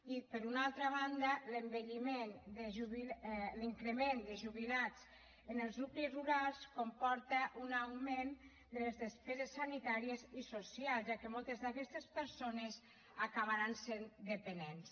i per una altra banda l’increment de jubilats en els nuclis rurals comporta un augment de les despeses sanitàries i socials ja que moltes d’aquestes persones acabaran sent dependents